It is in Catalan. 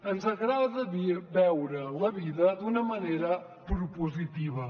ens agrada veure la vida d’una manera propositiva